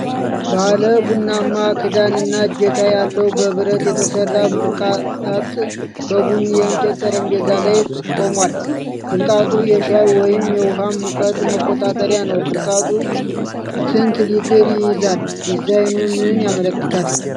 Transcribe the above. ባለ ቡናማ ክዳን እና እጀታ ያለው፣ በብረት የተሰራ ብልቃጥ በቡኒ የእንጨት ጠረጴዛ ላይ ቆሟል። ብልቃጡ የሻይ ወይም የውሃ ሙቀት መቆጣጠሪያ ነው። ብልቃጡ ስንት ሊትር ይይዛል? ዲዛይኑ ምንን ያመለክታል?